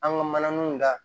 An ka mananinw da